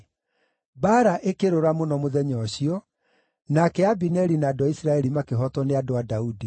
Mbaara ĩkĩrũra mũno mũthenya ũcio, nake Abineri na andũ a Isiraeli makĩhootwo nĩ andũ a Daudi.